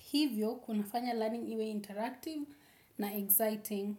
Hivyo, kunafanya learning iwe interactive na exciting.